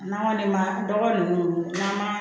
N'an kɔni ma dɔgɔ ninnu n'an ma